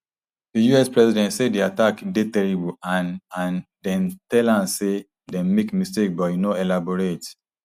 di us president say di attack dey terrible and and dem tell am say dem make mistake but e no elaborate